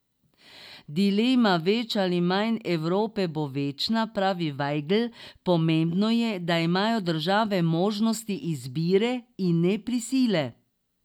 Dilema več ali manj Evrope bo večna, pravi Vajgl, pomembno je, da imajo države možnost izbire, in ne prisile.